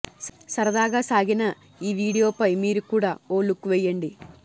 సరదాగా సాగిన ఈ వీడియోపై మీరు కూడా ఓ లుక్ వెయ్యండి